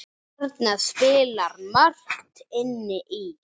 Þarna spilar margt inn í.